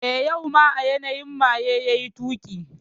Eh, yau ma a yanayi maye yayi tuki